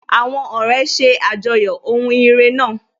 Àwọn ọ̀rẹ́ ṣe àjọyọ̀ ohun ire náà.